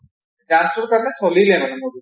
dance টোৰ কাৰণে চলিলে মানে movie টো